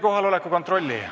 Kohaloleku kontroll.